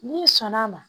N'i sɔnn'a ma